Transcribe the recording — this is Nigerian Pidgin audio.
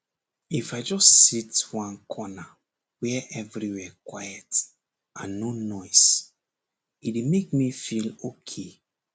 if i just sit one corner where everywhere quiet and no noise e dey make me feel okay